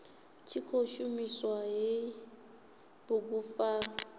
tshi khou shumisa hei bugupfarwa